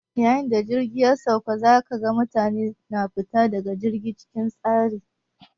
Yayin da jirgi ya sauka, za ka ga mutane na fita daga jirgi cikin tsari.